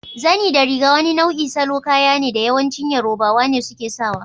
Zani da riga wani nau'in salo kaya ne da yawanci yarobawa ne suke sawa.